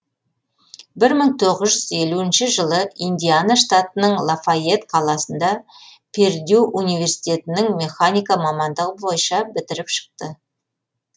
бір мың тоғыз жүз елуінші жылы индиана штатының лафейетт қаласында пердью университетінің механика мамандығы бойынша бітіріп шықты